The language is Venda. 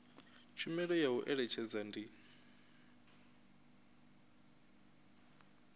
tshumelo ya u eletshedza ndi